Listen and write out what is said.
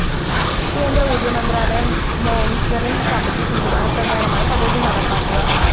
കേന്ദ്ര ഊര്‍ജമന്ത്രാലയം monitoring committee തീരുമാനപ്രകാരമാണ് പദ്ധതി നടപ്പാക്കുക